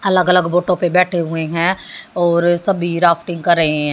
अलग अलग फोटो पे बैठे हुए हैं और सभी राफ्टिंग कर रहे हैं।